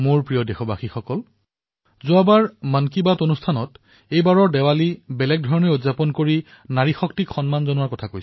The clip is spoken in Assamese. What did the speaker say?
মোৰ মৰমৰ দেশবাসীসকল যোৱাবাৰৰ মন কী বাতত আমি এইবাৰৰ দিপাৱলী ভিন্ন ধৰণে পালন কৰিম বুলি সিদ্ধান্ত গ্ৰহণ কৰিছিলো